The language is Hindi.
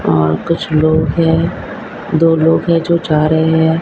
और कुछ लोग है दो लोग है जो जा रहे है।